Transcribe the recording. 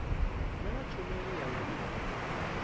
naa tshumelo ya vhuimo havhudi